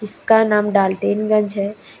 इसका नाम डाल्टेनगंज है।